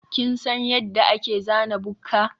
kin san yadda ake zana bukka?